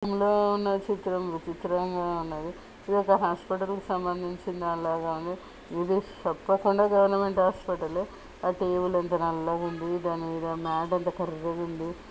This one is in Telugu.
లో ఉన్నది. చిత్రం చిత్రంలో ఉన్నది. ఇది ఒక హాస్పటల్ కి సంబంధించిన దాని లాగా ఉంది. ఇది తప్పకుండా గవర్నమెంట్ హాస్పిటల్ ఏ ఆ టేబుల్ ఎంత నల్లగా ఉందో దానిమీద మ్యా ట్ ఎంత కర్రగా ఉంది.